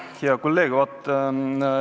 Hea kolleeg!